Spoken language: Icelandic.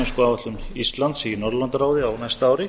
formennskuáætlun íslands í norðurlandaráði á næsta ári